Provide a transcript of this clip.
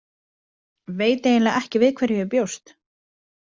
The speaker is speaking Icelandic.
Veit eiginlega ekki við hverju ég bjóst.